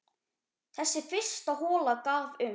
Þessi fyrsta hola gaf um